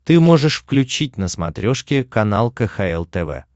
ты можешь включить на смотрешке канал кхл тв